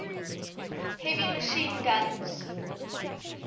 heavy machine guns